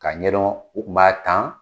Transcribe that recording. K'a ɲɛdɔn u tun b'a tan.